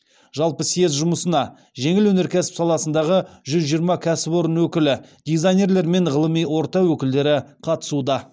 жалпы съезд жұмысына жеңіл өнеркәсіп саласындағы жүз жиырма кәсіпорын өкілі дизайнерлер мен ғылыми орта өкілдері қатысуда